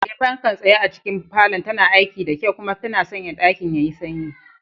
Eh, fankar tsaye a cikin falon tana aiki da kyau kuma tana sanya ɗakin yayi sanyi.